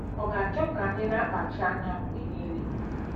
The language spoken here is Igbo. Ọ̀ ga-achọ ka anyị na-akpachi anya mgbe niile?